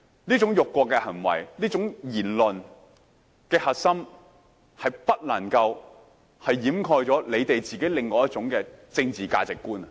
這種辱國的行為、這種言論的核心，是不能夠掩蓋你們自己另一種政治價值觀。